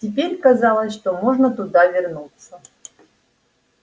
теперь казалось что можно туда вернуться